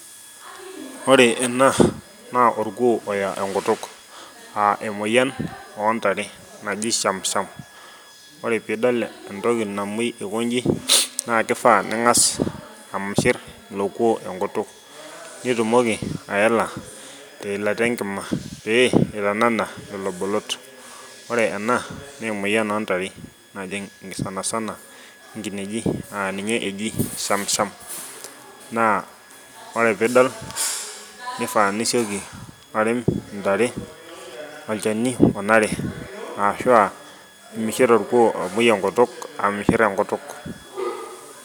Ore ena naa orkuo oya enkutuk naa emoyian oontare naji shamsham. Ore pee idol entoki namuoi aikoji naa kifaa ningas amishir ilo kuo oya enkutuk. Pee itumoki aela te ilata enkima pee itanana lelo bolot, ore ena naa emoyian oo ntare najing sanasana kineji naa ninye eji shamsham naa ore pee idol nifaa nisieki arem ntare olchani onare aashu mishir orkuo oya ekutuk amishir ekutuk.